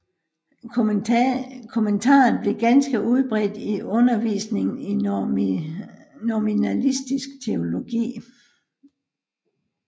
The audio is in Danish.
Kommentaren blev ganske udbredt i undervisningen i nominalistisk teologi